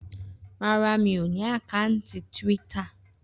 Rárá. Mi ò ní àkátì Twitter